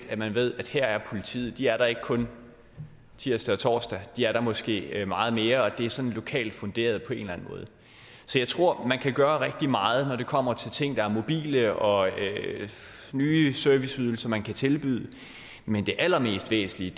at man ved at her er politiet de er der ikke kun tirsdag og torsdag de er der måske meget mere og det er sådan lokalt funderet på en måde så jeg tror man kan gøre rigtig meget når det kommer til ting der er mobile og nye serviceydelser man kan tilbyde men det allermest væsentlige